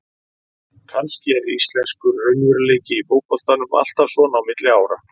Kannski er íslenskur raunveruleiki í fótboltanum alltaf svona á milli ára.